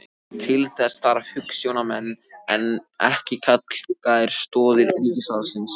Til þess þarf hugsjónamenn en ekki kalkaðar stoðir ríkisvaldsins.